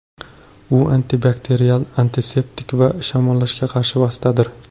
U antibakterial, antiseptik va shamollashga qarshi vositadir.